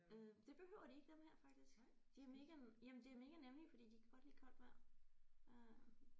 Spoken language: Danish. Øh det behøver de ikke dem her faktisk de har mega jamen det er mega nemme ik fordi de kan godt lide koldt vand øh